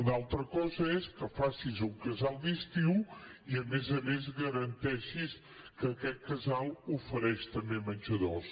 una altra cosa és que facis un casal d’estiu i a més a més garanteixis que aquest casal ofereix també menjadors